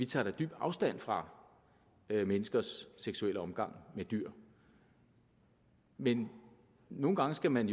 tager dyb afstand fra menneskers seksuelle omgang med dyr men nogle gange skal man